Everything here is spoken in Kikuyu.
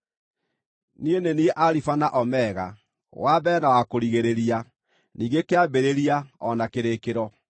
Niĩ nĩ niĩ Alifa na Omega, wa Mbere na wa Kũrigĩrĩria, ningĩ Kĩambĩrĩria o na Kĩrĩkĩro.